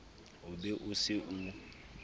o be o se o